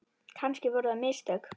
Kannski voru það mistök.